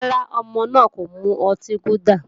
Rárá, ọmọ náà kò mu ọtí gúdà